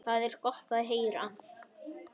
Það er gott að heyra.